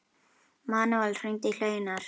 Manuel, hringdu í Hleinar.